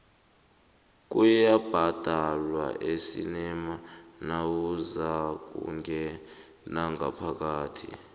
kuyabhadalwa esinema nawuzakungena ngaphakathi